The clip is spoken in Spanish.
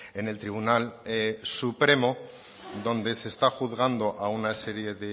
en el tribunal supremo donde se está juzgando a una serie